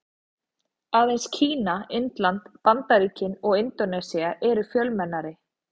Aðeins Kína, Indland, Bandaríkin og Indónesía eru fjölmennari.